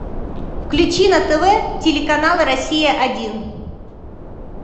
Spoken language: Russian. включи на тв телеканал россия один